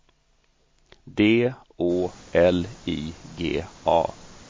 D Å L I G A